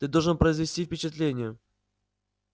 ты должна произвести впечатление